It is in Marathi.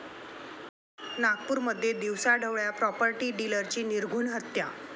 नागपूरमध्ये दिवसाढवळ्या प्राॅपर्टी डीलरची निर्घृण हत्या